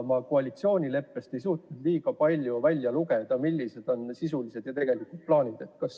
Ma koalitsioonileppest ei suutnud kuigi palju välja lugeda, millised on sisulised, tegelikud plaanid selles vallas.